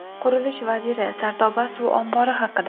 Qurilish vaziri Sardoba suv ombori haqida.